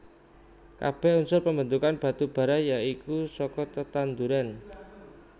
Kabèh unsur pambentuk batu bara ya iku saka tetanduran